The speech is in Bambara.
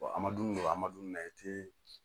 an ma dumuni don an ma dumuni na i te